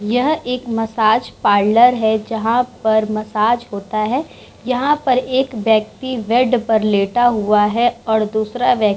यह एक massage parlour है जहाँ पर मसाज होता है। यहाँ पर एक व्यक्ति बेड पर लेटा हुआ है और दूसरा व्य --